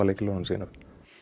lykilorðunum sínum